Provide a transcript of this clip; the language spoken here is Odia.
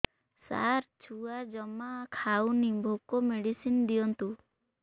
ସାର ଛୁଆ ଜମା ଖାଉନି ଭୋକ ମେଡିସିନ ଦିଅନ୍ତୁ